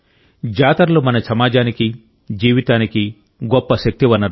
జాతరలు మన సమాజానికి జీవితానికి గొప్ప శక్తి వనరులు